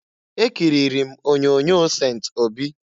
Ekiriri m onyoonyo Sent Obi.